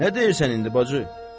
Nə deyirsən indi, bacı?